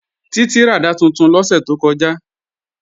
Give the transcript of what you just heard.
Títí ràdá tuntun lọ́sẹ̀ tó kọjá